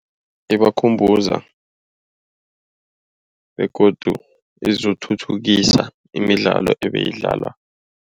Ibakhumbuza begodu izokuthuthukisa imidlalo ebeyidlaliwa.